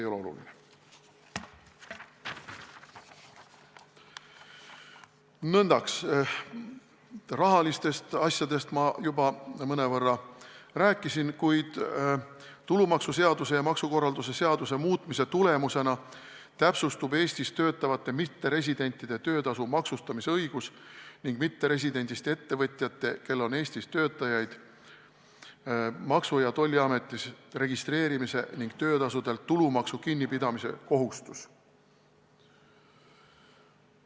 Rahalistest asjadest ma juba mõnevõrra rääkisin, kuid tulumaksuseaduse ja maksukorralduse seaduse muutmise tulemusena täpsustub Eestis töötavate mitteresidentide töötasu maksustamise õigus ning mitteresidendist ettevõtjate, kel on Eestis töötajaid, Maksu- ja Tolliametis registreerimise ning töötasudelt tulumaksu kinnipidamise kohustus.